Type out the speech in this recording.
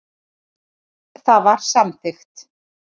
Það var samþykkt.